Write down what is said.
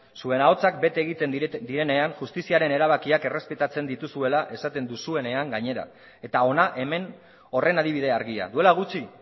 zuen ahotsak bete egiten direnean justiziaren erabakiak errespetatzen dituzuela esaten duzuenean gainera eta hona hemen horren adibide argia duela gutxi